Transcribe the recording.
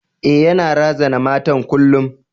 E, yana razana matan kullum.